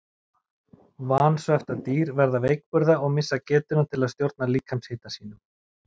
Vansvefta dýr verða veikburða og missa getuna til að stjórna líkamshita sínum.